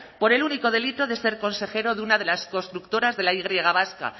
por el único delito de ser consejero de una de las constructoras de la y vasca